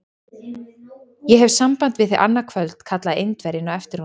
Ég hef samband við þig annað kvöld! kallaði Indverjinn á eftir honum.